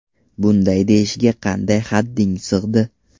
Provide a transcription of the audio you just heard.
Bunday deyishga qanday hadding sig‘di?